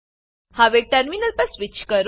હવે ટર્મિનલ પર સ્વીચ કરો